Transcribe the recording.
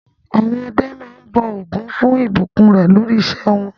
Àwọn ọdẹ máa ń bọ Ògún fún ìbùkún rẹ̀ lórí iṣẹ́ wọn.